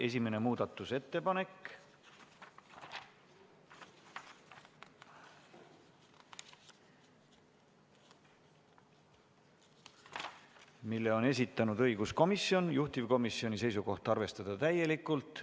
Esimene muudatusettepanek, mille on esitanud õiguskomisjon, juhtivkomisjoni seisukoht: arvestada seda täielikult.